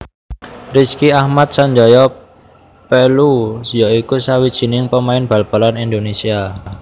Rizky Ahmad Sanjaya Pellu ya iku sawijining pemain bal balan Indonesia